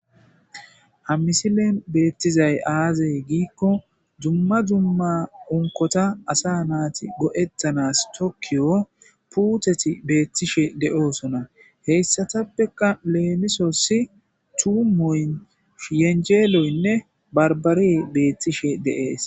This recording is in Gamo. hammisile beettizay aaze giikko dumma dumma onkota asa naati go7ettanas tokkiyo puuteti beettishe de'oosona heyssatappeka leemisossi tuumoyn sfhiyenjeeloynne barbari beettishe de'ees